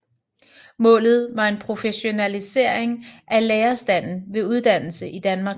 Målet var en professionalisering af lærerstanden ved uddannelse i Danmark